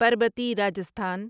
Parbati Rajasthan